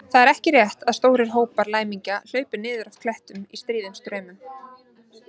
Það er ekki rétt að stórir hópar læmingja hlaupi niður af klettum í stríðum straumum.